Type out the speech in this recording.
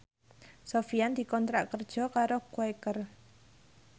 Sofyan dikontrak kerja karo Quaker